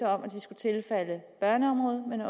om at de skulle tilfalde børneområdet men